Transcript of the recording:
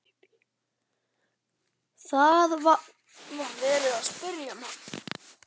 Það var verið að spyrja um hann.